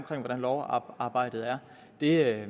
til hvordan lovarbejdet er det er